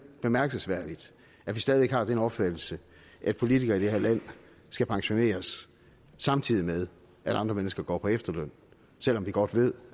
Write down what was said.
bemærkelsesværdigt at vi stadig væk har den opfattelse at politikere i det her land skal pensioneres samtidig med at andre mennesker går på efterløn selv om vi godt ved